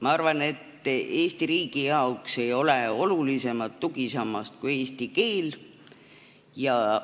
Ma arvan, et Eesti riigi jaoks ei ole olulisemat tugisammast kui eesti keel.